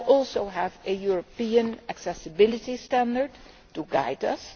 We now also have a European accessibility standard to guide us.